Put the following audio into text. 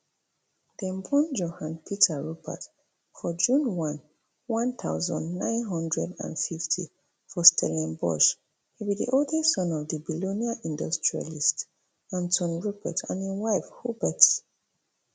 dem born johann peter rupert for june one one thousand, nine hundred and fifty for stellenbosch e be di oldest son of of billionaire industrialist anton rupert and im wife huberte